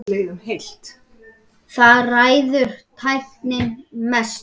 Þar ræður tæknin mestu.